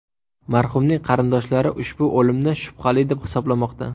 Marhumning qarindoshlari ushbu o‘limni shubhali deb hisoblamoqda.